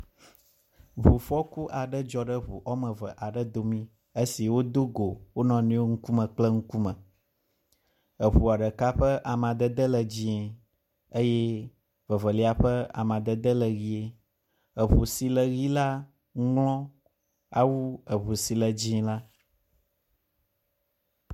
Ŋufɔku aɖe dzɔ le ŋu woame eve aɖe dome esi wodo go wo nɔ nɔewo ŋkume kple ŋkume. Eŋua ɖeka ƒe amadede le dzɛ̃e eye vevelia ƒe amadede le ʋɛ̃e. eŋu si le ʋɛ̃e la ŋlɔ awu eŋu si le dzɛ̃e la.